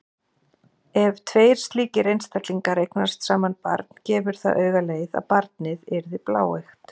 Ef tveir slíkir einstaklingar eignast saman barn gefur það auga leið að barnið yrði bláeygt.